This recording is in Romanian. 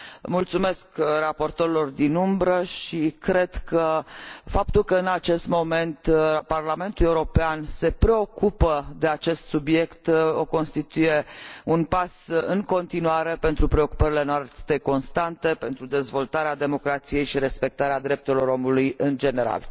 Mulțumesc raportorilor alternativi și cred că faptul că în acest moment Parlamentul European se preocupă de acest subiect constituie un pas, în continuare, pentru preocupările noastre constante pentru dezvoltarea democrației și respectarea drepturilor omului în general.